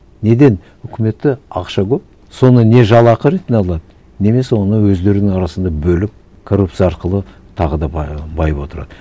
неден үкіметте ақша көп соны не жалақы ретінде алады немесе оны өздерінің арасында бөліп коррупция арқылы тағы да байып отырады